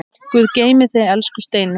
Guð geymi þig, elsku Steini.